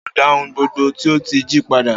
O óò dá ohun gbogbo tí o ti jí padà!